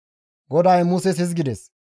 GODAY Muses hizgides,